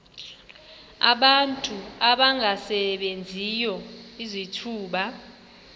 abantu abangasebenziyo izithuba